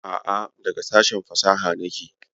A'q, daga sashen fasaha nake.